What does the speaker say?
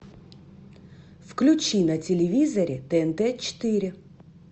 включи на телевизоре тнт четыре